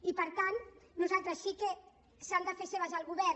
i per tant sí que s’ha de fer seves el govern